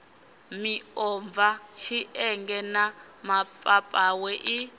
miomva tshienge na mapapawe i